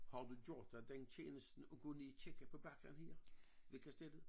Har du gjort dig den tjeneste at gå ned kigge på bakken her ved kastellet?